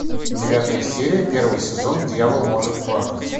девятая серия первый сезон дьявол может плакать